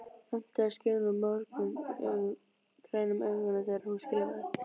Metnaður skein úr mógrænum augunum þegar hún skrifaði.